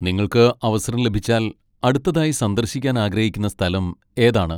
നിങ്ങൾക്ക് അവസരം ലഭിച്ചാൽ അടുത്തതായി സന്ദർശിക്കാൻ ആഗ്രഹിക്കുന്ന സ്ഥലം ഏതാണ്?